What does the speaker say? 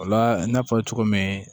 O la n y'a fɔ cogo min